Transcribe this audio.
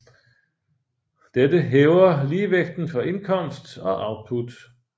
Dette hæver ligevægten for indkomst og output